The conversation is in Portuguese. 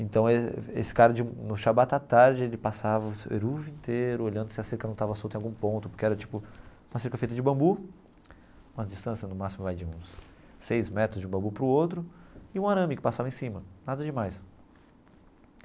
Então esse cara, no Shabbat à tarde, ele passava o eruv inteiro olhando se a cerca não estava solta em algum ponto, porque era tipo uma cerca feita de bambu, uma distância no máximo de uns seis metros de um bambu para o outro, e um arame que passava em cima, nada demais.